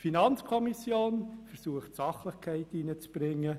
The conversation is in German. Die FiKo versucht, Sachlichkeit hineinzubringen.